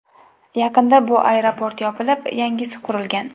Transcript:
Yaqinda bu aeroport yopilib, yangisi qurilgan.